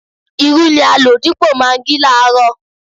Irú ni a lò dípò magí láàárọ̀